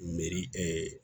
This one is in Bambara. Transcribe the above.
Meri